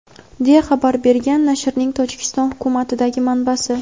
deya xabar bergan nashrning Tojikiston hukumatidagi manbasi.